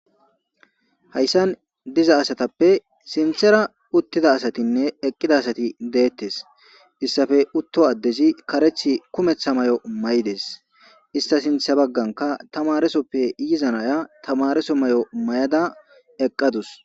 Hayssan diza asatappe sinthera uttida asatinne eqqida asati deettes issafe utto addezi kareth kumetha may7o may7des ista sintha bagganka tamaresoppe yizanaya tamareso may7o may7ada eqqadus.